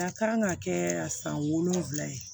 A kan ka kɛ san wolonwula ye